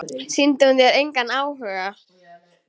Sýndi hún þér engan áhuga?